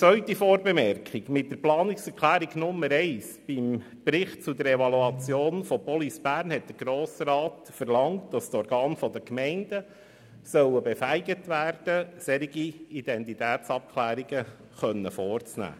Zweitens: Mit der Planungserklärung Nummer 1 zum Bericht «Evaluation Police Bern» hat der Grosse Rat verlangt, dass die Organe der Gemeinden befähigt werden sollen, solche Identitätsabklärungen vorzunehmen.